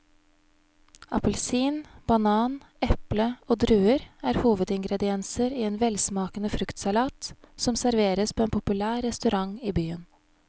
Appelsin, banan, eple og druer er hovedingredienser i en velsmakende fruktsalat som serveres på en populær restaurant i byen.